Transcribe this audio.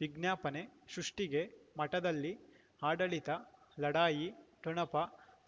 ವಿಜ್ಞಾಪನೆ ಸೃಷ್ಟಿಗೆ ಮಠದಲ್ಲಿ ಆಡಳಿತ ಲಢಾಯಿ ಠೊಣಪ